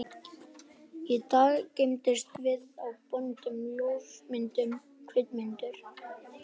Í dag geymumst við á böndum, ljósmyndum, kvikmyndum.